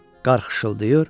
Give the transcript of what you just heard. qar xışıldayır.